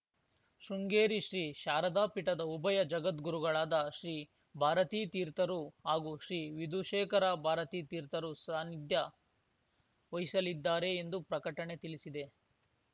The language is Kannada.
ಶೃಂಗೇರಿ ಶ್ರೀ ಶಾರದಾ ಪೀಠದ ಉಭಯ ಜಗದ್ಗುರುಗಳಾದ ಶ್ರೀ ಭಾರತೀ ತೀರ್ಥರು ಹಾಗೂ ಶ್ರೀ ವಿಧುಶೇಖರ ಭಾರತೀ ತೀರ್ಥರು ಸಾನ್ನಿಧ್ಯ ವಹಿಸಲಿದ್ದಾರೆ ಎಂದು ಪ್ರಕಟಣೆ ತಿಳಿಸಿದೆ